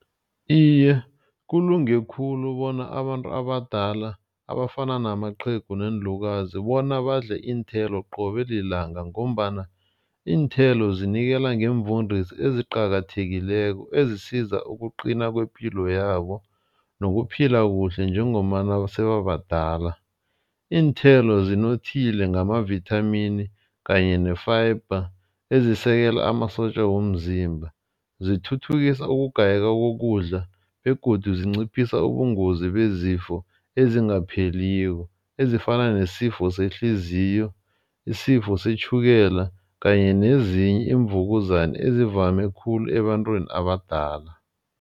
Iye, kulunge khulu bona abantu abadala abafana namaqhegu neenlukazi bona badle iinthelo qobe lilanga. Ngombana iinthelo zinikela ngemvundisi eziqakathekileko ezisiza ukuqina kwepilo yabo nokuphila kuhle njengombana sebabadala. Iinthelo zinothile ngamavithamini kanye ne-fiber ezisekela amasotja womzimba. Zithuthukisa ukugayeka kokudla begodu zinciphisa ubungozi bezifo ezingapheliko. Ezifana nesifo sehliziyo, isifo setjhukela, kanye nezinye iimvukuzana ezivame khulu ebantwini abadala.